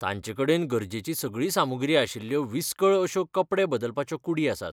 तांचेकडेन गरजेची सगळी सामुग्री आशिल्ल्यो विसकळ अश्यो कपडे बदलपाच्यो कूडी आसात.